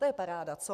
To je paráda, co?